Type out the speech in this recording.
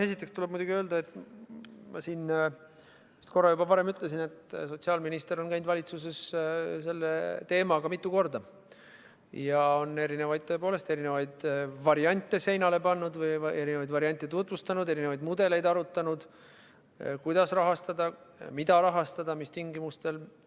Esiteks tuleb muidugi öelda, et ma siin vist korra juba varem ütlesin, et sotsiaalminister on käinud valitsuses selle teemaga mitu korda ja on tõepoolest erinevaid variante tutvustanud, erinevaid mudeleid arutanud, kuidas rahastada, mida rahastada, mis tingimustel.